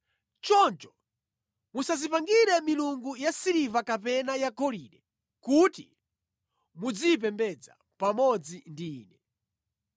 Choncho musadzipangire milungu yasiliva kapena yagolide kuti muziyipembedza pamodzi ndi Ine.’ ”